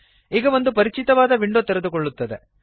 ಈಗ ಒಂದು ಪರಿಚಿತವಾದ ವಿಂಡೋ ತೆರೆದುಕೊಳ್ಳುತ್ತದೆ